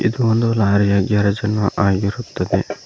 ಇದು ಒಂದು ಲಾರಿಯ ಗ್ಯಾರೇಜನ್ನು ಆಗಿರುತ್ತದೆ.